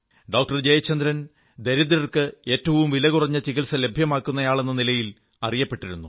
doctor Jayachandran ദരിദ്രർക്ക് ഏറ്റവും വില കുറഞ്ഞ ചികിത്സ ലഭ്യമാക്കുന്നയാളെന്ന നിലയിൽ അറിയപ്പെട്ടിരുന്നു